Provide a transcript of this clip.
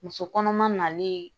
Muso kɔnɔma nalen